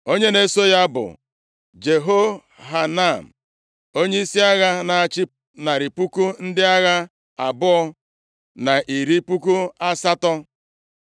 onye na-eso ya bụ Jehohanan, onyeisi agha, na-achị narị puku ndị agha abụọ na iri puku asatọ (280,000),